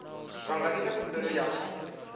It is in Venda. vha nga ita khumbelo ya